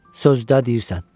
Sözdə deyirsən.